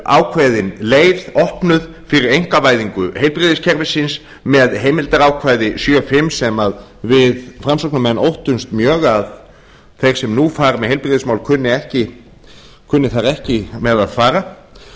ákveðin leið opnuð fyrir einkavæðingu heilbrigðiskerfisins með heimildarákvæði sjötíu og fimm sem við framsóknarmenn óttumst mjög að þeir sem nú fara með heilbrigðismál kunni þar ekki með að fara